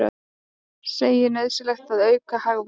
Segir nauðsynlegt að auka hagvöxt